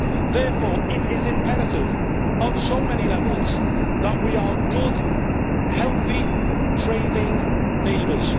Therefore, it is imperative on so many levels that we are good, healthy trading neighbours.